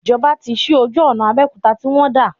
Ìjọba tí sí ojú ọ̀nà Abéòkúta tí wọ́n dà